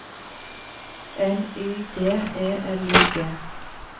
N Y D E L I G